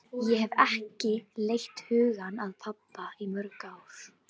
Ég hafði ekki leitt hugann að pabba í mörg ár.